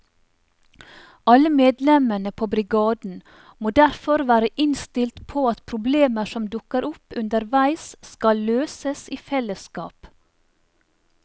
Alle medlemmene på brigaden må derfor være innstilt på at problemer som dukker opp underveis skal løses i fellesskap.